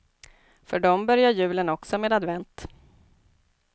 För dem börjar julen också med advent.